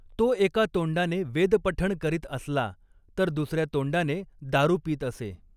तो एका तोंडाने वेदपठण करीत असला तर दुसर्या तोंडाने दारू पीत असे.